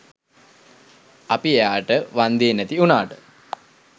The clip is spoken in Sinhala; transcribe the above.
අපි එයාට වන්දේ නැති උනාට